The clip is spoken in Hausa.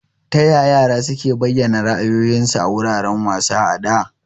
Taya yara suke bayyana ra'ayoyinsu a wuraren wasa a da?